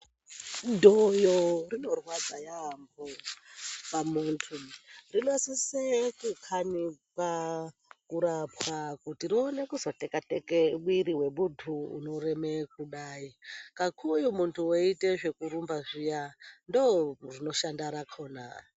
Dhoyo inorwadza yamho pamuntu, rinosise kukhanikwa, kurapwa kuti rione kuzoteka teke mwiri wemuntu unoreme kudai kakuwo muntu weite zvekurumba zviya ndoo rinoshanda rakhona.